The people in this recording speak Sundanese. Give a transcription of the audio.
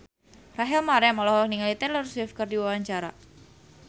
Rachel Maryam olohok ningali Taylor Swift keur diwawancara